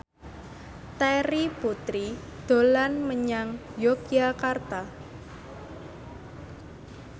Terry Putri dolan menyang Yogyakarta